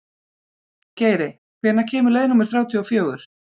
Geiri, hvenær kemur leið númer þrjátíu og fjögur?